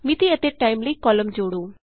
ਮਿਤੀ ਅਤੇ ਟਾਈਮ ਲਈ ਕਾਲਮ ਜੋੜੋ